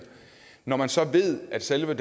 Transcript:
når man så ved at selve